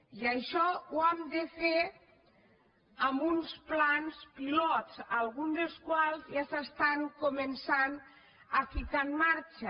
i això ho hem de fer amb uns plans pilot alguns dels quals ja s’estan començant a ficar en marxa